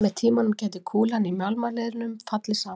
með tímanum gæti kúlan í mjaðmarliðnum fallið saman